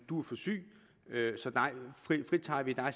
du er for syg så dig fritager vi og